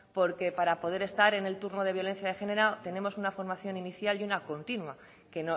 porque para poder estar en el turno de violencia de género tenemos una formación inicial y una continua que